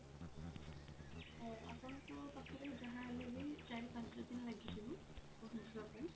ହଁ ଆପଣଙ୍କ ପାଖରେ ଯାହା ହେଲେ ବି ଚାରି ପାଞ୍ଚ ଦିନ ଲାଗିଯିବ ପହଞ୍ଚିବା ପାଇଁ।